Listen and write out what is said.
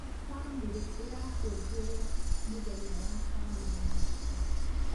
Bamĩrĩ ĩrakũngũĩra mũthenya wa bamĩrĩ na gĩkeno.